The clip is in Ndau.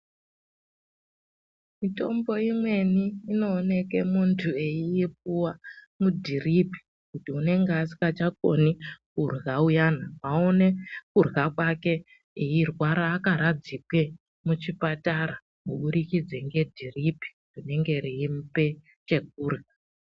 Mitombo imweni inooneke muntu eiipuwa mudhiripi kuti unenge asikachakoni kurya uyana aone kurya kwake eirwara akaradzikwe muchipatara kuburikidze ngedhiripi rinenge reimupe chekurya.